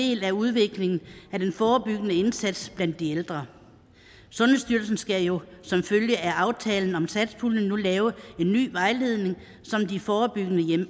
del af udviklingen af den forebyggende indsats blandt de ældre sundhedsstyrelsen skal jo som følge af aftalen om satspuljen nu lave en ny vejledning